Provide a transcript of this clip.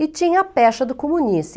E tinha a pecha do comunista.